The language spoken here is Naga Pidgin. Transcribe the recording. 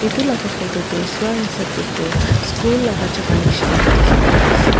Etu laga photo tey swa hisap tey toh school laga jaka nishna dekhi pai ase.